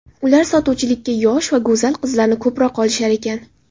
Ular sotuvchilikka yosh va go‘zal qizlarni ko‘proq olishar ekan.